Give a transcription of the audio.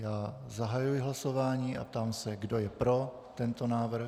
Já zahajuji hlasování a ptám se, kdo je pro tento návrh.